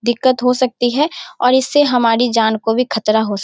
दिक्कत हो सकती है और इससे हमारी जान को भी खतरा हो सक --